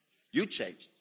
You changed.